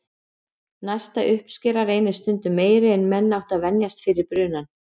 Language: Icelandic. Næsta uppskera reynist stundum meiri en menn áttu að venjast fyrir brunann.